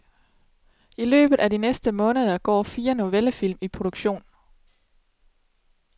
I løbet af de næste måneder går fire novellefilm i produktion.